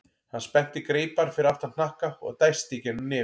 Hann spennti greipar fyrir aftan hnakka og dæsti í gegnum nefið.